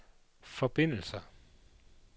forbindelser